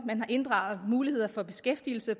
man har inddraget muligheder for beskæftigelse